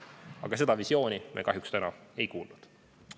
Aga seda visiooni me kahjuks täna ei kuulnud.